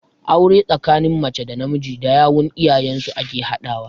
Aure tsakanin mace da namiji da yawun iyayen su ake haɗawa.